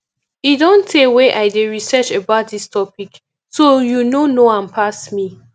e don tey wey i dey research about dis topic so you no know am pass me